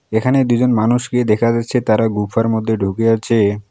এখানে দুইজন মানুষকে দেখা যাচ্ছে তারা গুফার মধ্যে ঢুকে আছে।